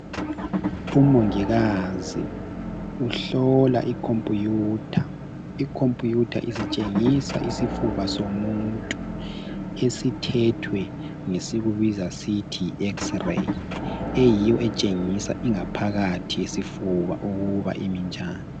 Umongikazi uhlola i computer. I computer isitshengisa isifuba somuntu esithethwe ngesikubiza sithi yi x-ray eyiyo etshengisa ingaphakathi yesifuba ukuba imi njani.